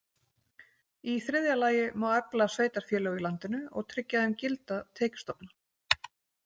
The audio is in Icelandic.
í þriðja lagi má efla sveitarfélög í landinu og tryggja þeim gilda tekjustofna.